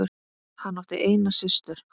Hann átti eina systur.